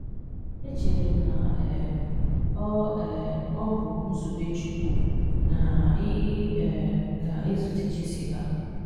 Echere m na um ọ um ọ bụ nzube Chukwu na ị um ga-ezute Jessica